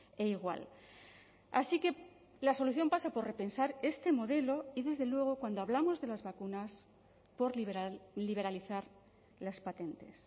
e igual así que la solución pasa por repensar este modelo y desde luego cuando hablamos de las vacunas por liberalizar las patentes